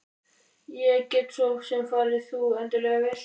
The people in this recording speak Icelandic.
Ég get svo sem farið fyrst þú endilega vilt.